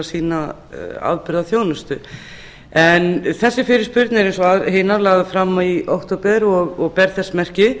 sýna afburða þjónustu þessi fyrirspurn er eins og hinar lögð fram í október og ber þess merki